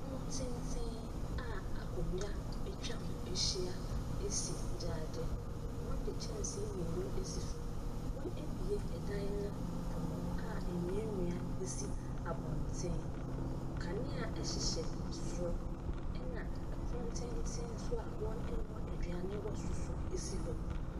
Pono tenten a akonnwa atwa ho ahyia si gyaade. Wɔde kyɛnse mmienu asi so, wɔabue no pono a nnuannua sisi abɔnten. Kanea hyehyɛ soro na pono tenten a wɔnoa aduane wɔ so nso si hɔ.